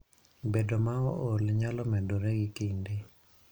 Bedo ma ool nyalo medore gi kinde.